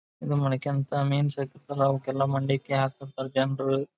ಈದ್ ಮಾಣಿಕ್ಯಂತ್ ಅವುಕ್ಕೆಲ್ಲಾ ಮಂಡಕಿ ಹಾಕಿಬಿಡ್ತರೆ ಜನ್ರು.